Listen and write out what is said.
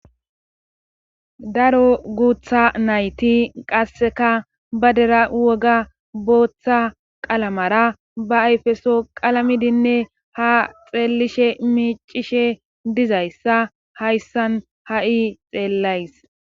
Daro guutha nayti qasseka ba dera woga booththa qalamara ba ayfeso qalamidinne ha xeelishe miicishe dizayssa hayssan ha7i xeellays